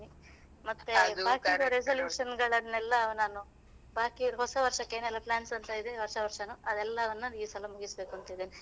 ಮತ್ತೆ ಆರ್ಥಿಕ resolution ಗಳೆನ್ನೆಲ್ಲ ನಾನು ಬಾಕಿ ಹೊಸವರ್ಷಕ್ಕೆ ಏನೆಲ್ಲ plans ಅಂತ ಇದೆ ಹೊಸವರ್ಷನು ಅದೆಲ್ಲವನ್ನು ಈ ಸಲ ಮುಗಿಸ್ಬೇಕೂಂತ ಇದ್ದೇನೆ.